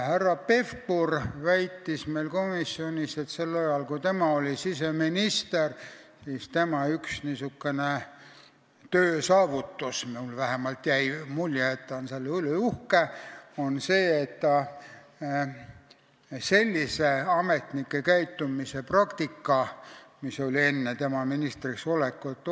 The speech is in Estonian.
Härra Pevkur väitis meile komisjonis, et sel ajal, kui tema oli siseminister, oli tema üks töösaavutus – mulle vähemalt jäi mulje, et ta on selle üle uhke – see, et ta olevat ära keelanud sellise ametnike käitumise praktika, mis oli olnud enne tema ministriks olekut.